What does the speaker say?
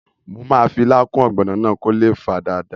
Mo máa fi ilá kún ọ̀gbọ̀nà náà kó lè fà dáadáa